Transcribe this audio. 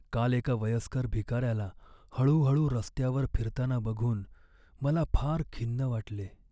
काल एका वयस्कर भिकाऱ्याला हळूहळू रस्त्यावर फिरताना बघून मला फार खिन्न वाटले.